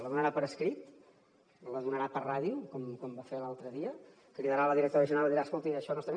la donarà per escrit la donarà per ràdio com va fer l’altre dia cridarà a la directora general i li dirà escolti això no està